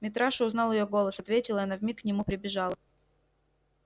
митраша узнал её голос ответил и она вмиг к нему прибежала